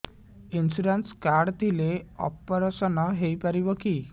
insurance card ଥିଲେ operation ହେଇପାରିବ କି